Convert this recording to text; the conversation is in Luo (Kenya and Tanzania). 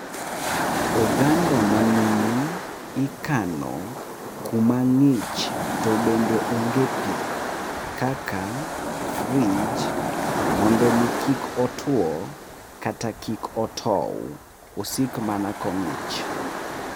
Oganda manumu ikano kumang'ich tobende onge pi. Kaka fridge mondo mi kik otwo kata kik otow. Osik mana kong'ich.